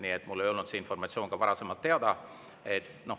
Nii et mul ei olnud see informatsioon ka varasemalt teada.